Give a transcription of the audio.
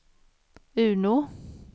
Uno